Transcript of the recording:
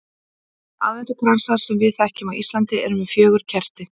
Aðventukransar sem við þekkjum á Íslandi eru með fjögur kerti.